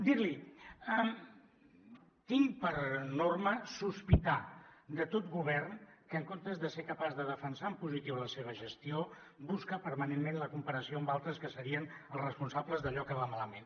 dir li tinc per norma sospitar de tot govern que en comptes de ser capaç de defensar en positiu la seva gestió busca permanentment la comparació amb altres que serien els responsables d’allò que va malament